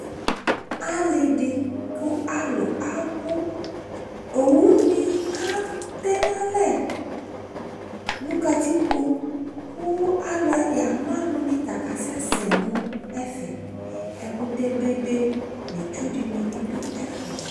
Ale de ko alu abu Owu ne atɛ no alɛ no katikpo ko aluɛ, ya mu alu ne ta kasɛsɛ no ɛfɛ Ɛkutɛ bebe no itsu de ne be do ɛfɛ